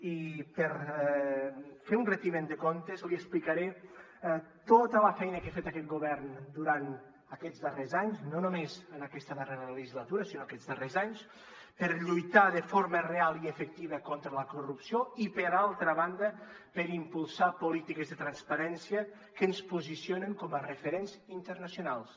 i per fer un retiment de comptes li explicaré tota la feina que ha fet aquest govern durant aquests darrers anys no només en aquesta darrera legislatura sinó aquests darrers anys per lluitar de forma real i efectiva contra la corrupció i per altra banda per impulsar polítiques de transparència que ens posicionen com a referents internacionals